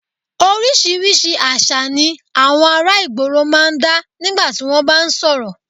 Oríṣiríṣi àṣà ni àwọn ará ìgboro máa ń dá nígbà tí wọ́n bá ń sọ̀rọ̀